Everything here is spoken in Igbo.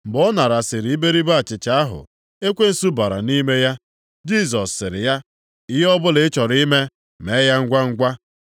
Mgbe ọ narasịrị iberibe achịcha ahụ, ekwensu bara nʼime ya. Jisọs sịrị ya, “Ihe ọbụla ị chọrọ ime, mee ya ngwangwa.”